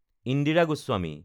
Indira Goswami